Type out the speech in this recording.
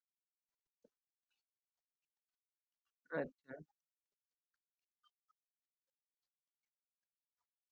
sir मग तुम्ही एकदा खात्री कराल का कि नक्की काय झालं असेल आणि तुमचा fridge बंद पडला म्हणजे नक्की काय झालंय म्हणजे मला तुम्ही सांगू शकाल का?